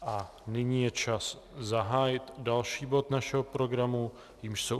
A nyní je čas zahájit další bod našeho programu, jímž jsou